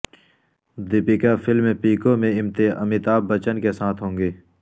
د یپکا film Piku میں امیتابھ بچن کے ساتھ ہوں گی